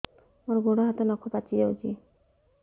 ମୋର ଗୋଡ଼ ହାତ ନଖ ପାଚି ଯାଉଛି